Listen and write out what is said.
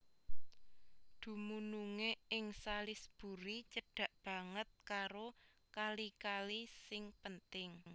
Dumunungé ing Salisbury cedhak banget karo kali kali sing penting